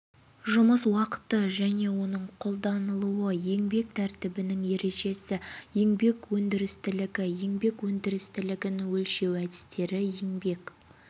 жұмыс уақыты және оның қолданылуы ішкі еңбек тәртібінің ережесі еңбек өндірістілігі еңбек өндірістілігін өлшеу әдістері еңбек